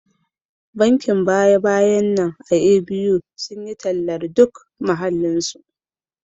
Bankin baya-bayan nan a A.B.U sun yi tallar duk muhallinsu